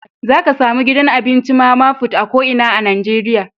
Za ka samu gidan abinci mama put a ko inan Nijeriya.